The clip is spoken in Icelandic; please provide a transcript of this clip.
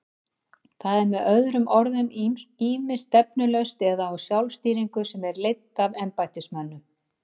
Það er með öðrum orðum ýmist stefnulaust eða á sjálfstýringu sem er leidd af embættismönnum.